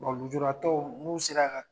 Wa lujuratɔw n'u sera ka